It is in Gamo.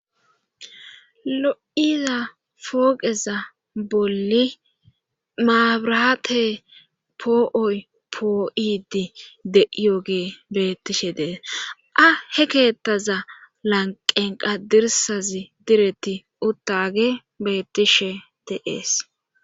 lo7iza pooqeza bolli maabraate poo7oy poo7idi de7iyogee bettishe dees a he keettaza lanqenqa dirsazi diretti uttage beettishe de'es